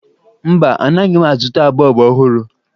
Mba, anaghị m azụta bọọbụ ọhụrụ